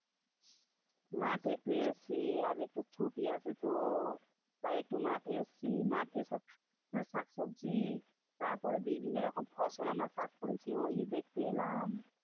মাঠে একটু এসেছি আজ একটু ছুটি আছে তো? তাই একটু মাঠে এসেছি মাঠে সব মানে শাক তুলছি তারপরে বিভিন্ন রকম ফসল আমরা চাষ করেছি ওই যে দেখতে এলাম।